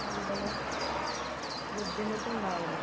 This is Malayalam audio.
കൂടുതല് ബുദ്ധിമുട്ടുണ്ടാവില്ല